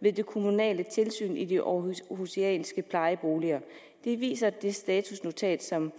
ved det kommunale tilsyn i de århusianske plejeboliger det viser det statusnotat som